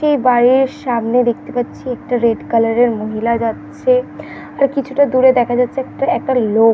এ বাড়ির সামনে দেখতে পারছি একটা রেড কালার এর মহিলা যাচ্ছে। আর কিছুটা দূরে দেখা যাচ্ছে একটা একটা লোক।